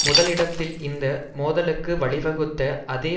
முதல் இடத்தில் இந்த மோதலுக்கு வழிவகுத்த அதே